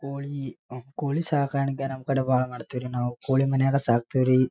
ಕೃತಕವಾಗಿ ಎನ್ವಿರಾನ್ಮೆಂಟ್ ಅದ. ಮತ್ತ್ ಕೋಳಿ ಫಾರ್ಮ್ ಚೊಲೋ ಮಾಡ್ಯಾರ. ಯಾವದೇ ರೀತಿ ಅಡಚಣೆಗಳ್ ಇಲ್ಲ.